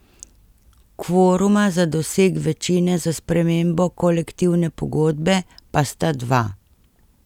Kvoruma za doseg večine za spremembo kolektivne pogodbe pa sta dva.